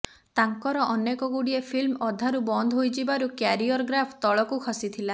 ତାଙ୍କର ଅନେକଗୁଡିଏ ଫିଲ୍ମ ଅଧାରୁ ବନ୍ଦ ହୋଇଯିବାରୁ କ୍ୟାରିୟର ଗ୍ରାଫ ତଳକୁ ଖସିଥିଲା